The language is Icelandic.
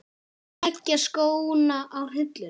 Leggja skóna á hilluna?